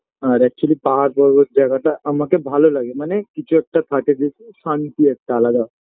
আর actually পাহাড় পর্বত জায়গাটা আমাকে ভালো লাগে মানে কিছু একটা থাকে যে শান্তি একটা আলাদা